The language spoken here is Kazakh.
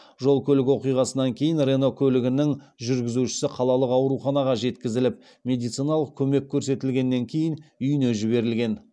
жол көлік оқиғасынан кейін рено көлігінің жүргізушісі қалалық ауруханаға жеткізіліп медициналық көмек көрсетілгеннен кейін үйіне жіберілген